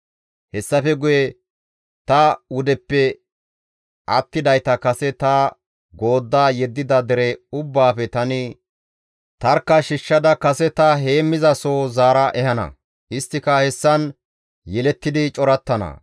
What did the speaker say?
Hessafe guye ta wudeppe attidayta kase ta goodda yeddida dere ubbaafe tani tarkka shiishshada kase ta heemmizasoho zaara ehana; isttika hessan yelettidi corattana.